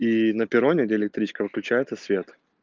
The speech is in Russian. и на перроне электричка выключается свет